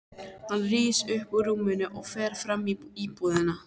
Hann rís upp úr rúminu og fer fram í íbúðina.